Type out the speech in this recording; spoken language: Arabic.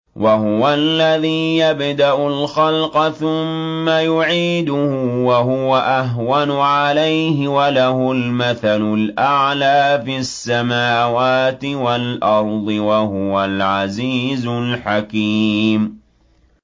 وَهُوَ الَّذِي يَبْدَأُ الْخَلْقَ ثُمَّ يُعِيدُهُ وَهُوَ أَهْوَنُ عَلَيْهِ ۚ وَلَهُ الْمَثَلُ الْأَعْلَىٰ فِي السَّمَاوَاتِ وَالْأَرْضِ ۚ وَهُوَ الْعَزِيزُ الْحَكِيمُ